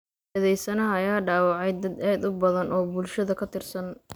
Eedeysanaha ayaa dhaawacay dad aad u badan oo bulshada ka tirsan.